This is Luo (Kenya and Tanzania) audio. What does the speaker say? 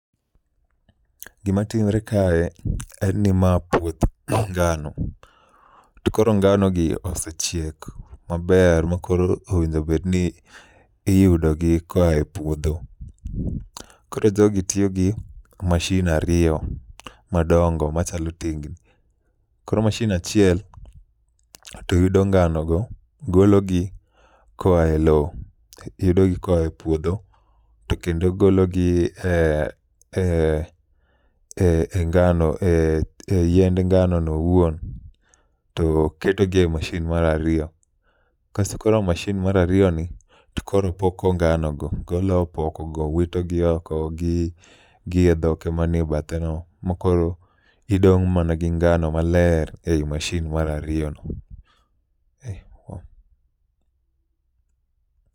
Gima timre kae en ni ma puoth ngano, to koro ngano gi osechiek maber ma koro owinjobedni iyudogi koa e puodho. Koro jogi tiyo gi mashin ariyo madongo machalo tingni. Koro mashin achiel to yudo ngano go, gologi koa e lo, yudogi koa e puodho. To kendo gologi e e e ngano, e yiend ngano no owuon to ketogi ei mashin marariyo. Kaso koro mashin marariyoni to koro poko ngano go, golo opokogo wito gi oko gi e dhoke manie bathe no. Ma koro idong' mana gi ngano maler ei mashin marariyo no. Ei wow.